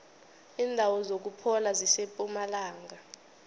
indawo zokuphola zisempumalanga